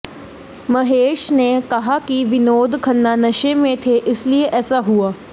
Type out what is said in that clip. महेश ने कहा कि विनोद खन्ना नशे में थे इसलिए ऐसा हुआ